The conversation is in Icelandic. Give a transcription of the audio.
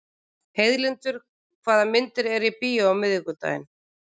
Heiðlindur, hvaða myndir eru í bíó á miðvikudaginn?